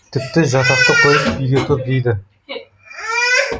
тіпті жатақты қойып үйге тұр дейді